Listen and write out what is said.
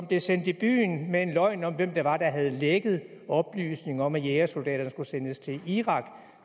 blev sendt i byen med en løgn om hvem det var der havde lækket oplysninger om at jægersoldaterne skulle sendes til irak